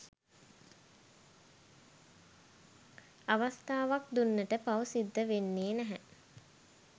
අවස්ථාවක් දුන්නට පවු සිද්ධ වෙන්නෙ නෑ